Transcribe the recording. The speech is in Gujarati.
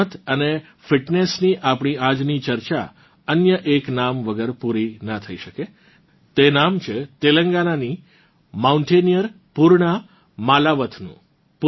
રમત અને ફિટનેસની આપણી આજની ચર્ચા અન્ય એક નામ વગર પૂરી ના થઇ શકે તે નામ છે તેલંગાનાની માઉન્ટેનીયર પૂર્ણા માલાવથનું